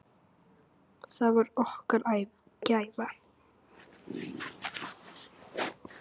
Það var okkar gæfa.